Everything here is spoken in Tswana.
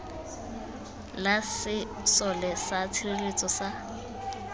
la sesole sa tshireletso sa